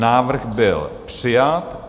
Návrh byl přijat.